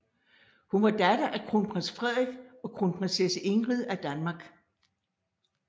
Hun var datter af kronprins Frederik og kronprinsesse Ingrid af Danmark